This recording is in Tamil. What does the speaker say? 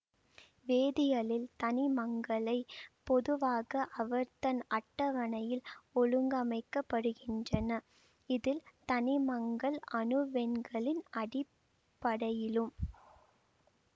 வேதியலில் தனிமங்களைப் பொதுவாக ஆவர்த்தன அட்டவணையில் ஒழுங்கமைக்கின்றனர் இதில் தனிமங்கள் அணுவெண்களின் அடிப்படையிலும்